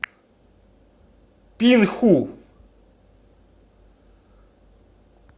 пинху